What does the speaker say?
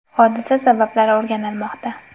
Hodisa sabablari o‘rganilmoqda.